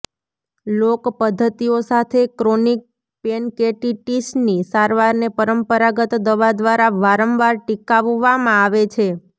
લોક પદ્ધતિઓ સાથે ક્રોનિક પેનકૅટિટિસની સારવારને પરંપરાગત દવા દ્વારા વારંવાર ટીકાવામાં આવે છે